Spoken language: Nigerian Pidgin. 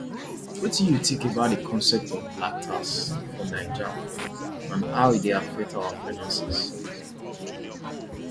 wetin you think about di concept of black tax for naija and how e dey affect our finances